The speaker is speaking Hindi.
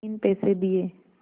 तीन पैसे दिए